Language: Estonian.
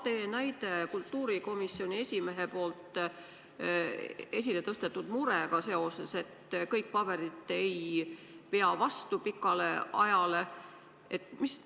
Tõite näite kultuurikomisjoni esimehe mure kohta, et kõik paberid ei pea pikale ajale vastu.